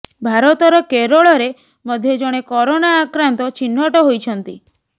ଭାରତର କେରଳରେ ମଧ୍ୟ ଜଣେ କୋରୋନା ଆକ୍ରାନ୍ତ ଚିହ୍ନଟ ହୋଇଛନ୍ତି